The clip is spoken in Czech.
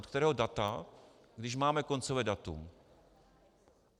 Od kterého data, když máme koncové datum?